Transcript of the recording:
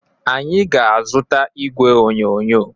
Anyị ga-azụta igwe onyonyo.